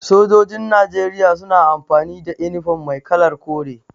Sojojin Najeriya suna amfani da inifom mai kalar kore.